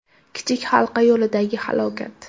Kichik Halqa yo‘lidagi halokat.